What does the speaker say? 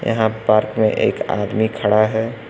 यहां पार्क में एक आदमी खड़ा है।